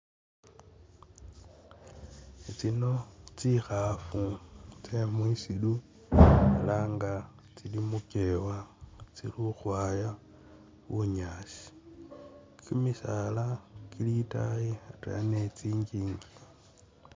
Tsino tsikhafu tse musiru elah nga tsili'mukewa tsili khukhwaya bunyasi kyimisala kyili itayi atwela ni kyingingi